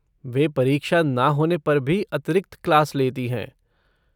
वे परीक्षा ना होने पर भी अतिरिक्त क्लास लेती हैं।